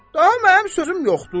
Daha mənim sözüm yoxdur.